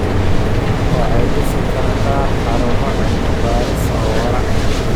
Waxay dhisi kartaa xarumo cilmi baaris oo waara.